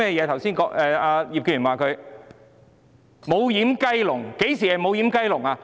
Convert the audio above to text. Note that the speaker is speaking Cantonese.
她說"無掩雞籠"，甚麼是"無掩雞籠"？